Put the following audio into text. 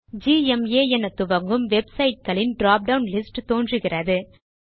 GMA எனத்துவங்கும் websites களின் drop down list தோன்றுகிறது